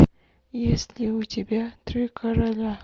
есть ли у тебя три короля